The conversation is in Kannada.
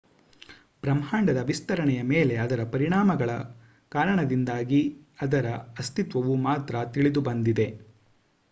ಬ್ರಹ್ಮಾಂಡದ ವಿಸ್ತರಣೆಯ ಮೇಲೆ ಅದರ ಪರಿಣಾಮಗಳ ಕಾರಣದಿಂದಾಗಿ ಅದರ ಅಸ್ತಿತ್ವವು ಮಾತ್ರ ತಿಳಿದುಬಂದಿದೆ